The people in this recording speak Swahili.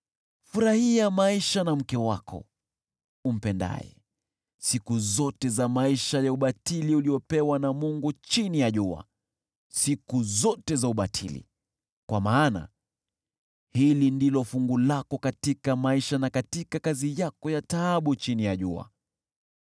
Furahia maisha na mke wako, umpendaye, siku zote za maisha ya ubatili uliyopewa na Mungu chini ya jua, siku zote za ubatili. Kwa maana hili ndilo fungu lako katika maisha na katika kazi yako ya taabu chini ya jua.